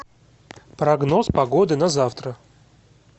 прогноз погоды на завтра